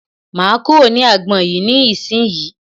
Máa kúrò ní agbọn yìí ní ìsínyì.